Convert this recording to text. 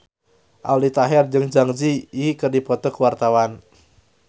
Aldi Taher jeung Zang Zi Yi keur dipoto ku wartawan